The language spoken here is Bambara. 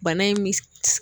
Bana in mi